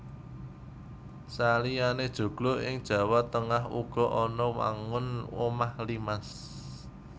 Saliyané joglo ing Jawa Tengah uga ana wangun omah limas